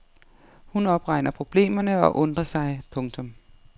Hun opregner problemerne og undrer sig. punktum